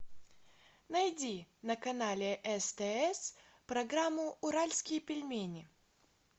найди на канале стс программу уральские пельмени